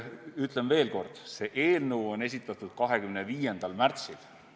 Ütlen veel kord: see eelnõu esitati 25. märtsil.